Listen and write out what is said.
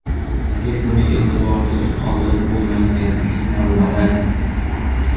Organizmning e’tiborsiz qoldirib bo‘lmaydigan signallari .